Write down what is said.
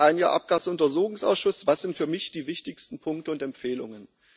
Ein Jahr Abgasuntersuchungsausschuss was sind für mich die wichtigsten Punkte und Empfehlungen?